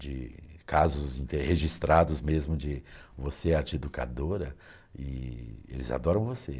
de casos registrados mesmo de você é a tia educadora e eles adoram você.